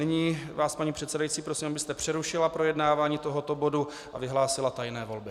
Nyní vás, paní předsedající, prosím, abyste přerušila projednávání tohoto bodu a vyhlásila tajné volby.